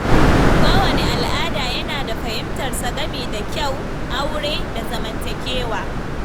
Kowane al’ada yana da fahimtarsa game da kyau, aure, da zamantakewa.